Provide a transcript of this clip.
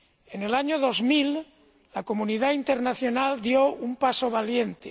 En el año 2000 la comunidad internacional dio un paso valiente.